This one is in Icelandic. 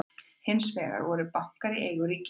hins vegar voru bankar í eigu ríkisins